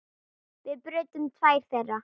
Við brutum tvær þeirra.